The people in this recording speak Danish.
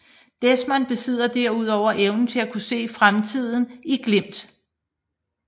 Desmond besidder derudover evnen til at kunne se fremtiden i glimt